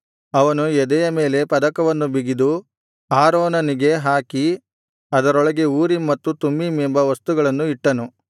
ಅವನು ಎದೆಯ ಮೇಲೆ ಪದಕವನ್ನು ಬಿಗಿದು ಆರೋನನಿಗೆ ಹಾಕಿ ಅದರೊಳಗೆ ಊರೀಮ್ ಮತ್ತು ತುಮ್ಮೀಮ್ ಎಂಬ ವಸ್ತುಗಳನ್ನು ಇಟ್ಟನು